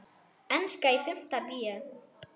Enska í fimmta bé.